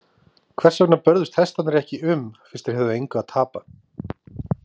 Hvers vegna börðust hestarnir ekki um fyrst þeir höfðu engu að tapa?